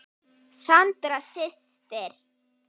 Sandra systir.